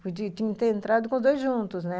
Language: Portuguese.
Podia ter entrado com os dois juntos, né?